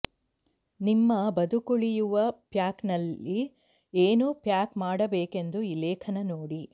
ನಿಮ್ಮ ಬದುಕುಳಿಯುವ ಪ್ಯಾಕ್ನಲ್ಲಿ ಏನು ಪ್ಯಾಕ್ ಮಾಡಬೇಕೆಂದು ಈ ಲೇಖನ ನೋಡಿ